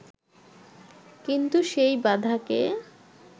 কিন্তু সেই বাধাকে